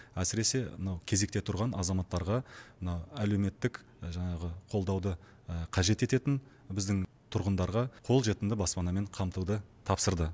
әсіресе мынау кезекте тұрған азаматтарға мына әлеуметтік жаңағы қолдауды қажет ететін біздің тұрғындарға қолжетімді баспанамен қамтуды тапсырды